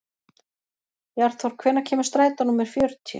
Bjarnþór, hvenær kemur strætó númer fjörutíu?